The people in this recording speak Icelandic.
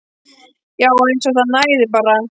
Já. eins og það nægði bara.